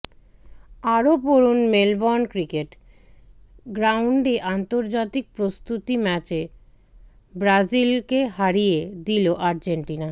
আরও পড়ুন Melbourne cricket গ্রাউন্ডে আন্তর্জাতিক প্রস্তুতি ম্যাচে ব্রাজিলকে হারিয়ে দিল আর্জেন্টিনা